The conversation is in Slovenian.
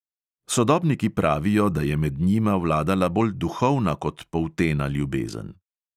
Sodobniki pravijo, da je med njima vladala bolj duhovna kot poltena ljubezen.